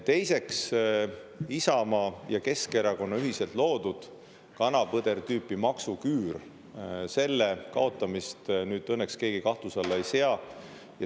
Teiseks, Isamaa ja Keskerakonna ühiselt loodud kana-põder-tüüpi maksuküür – selle kaotamist nüüd õnneks keegi kahtluse alla ei sea.